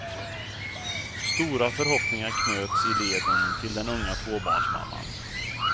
Stora förhoppningar knöts i leden till den unga tvåbarnsmamman.